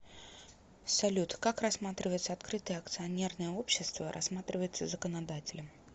салют как рассматривается открытое акционерное общество рассматривается законодателем